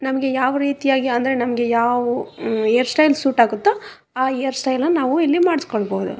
ನಮ್ಗೆ ಯಾವ್ ರೀತಿಯಾಗಿ ಅಂದ್ರೆ ನಮ್ಗೆ ಯಾವ್ ಹೇರ್ ಸ್ಟೈಲ್ ಸೂಟ್ ಆಗುತ್ತೋ ಆ ಹೇರ್ ಸ್ಟೈಲ್ ನ ನಾವು ಇಲ್ಲಿ ಮಾಡ್ಸ್ಕೊಳ್ಳ್ಬಹುದು.